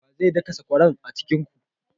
Wa zai daka sakwaran a cikin ku?